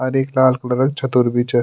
अर एक लाल कलरो क छत्रु भी च।